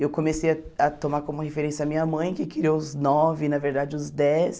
Eu comecei a tomar como referência a minha mãe, que criou os nove, na verdade os dez.